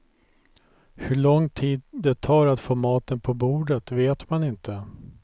Hur lång tid det tar att få maten på bordet vet man inte.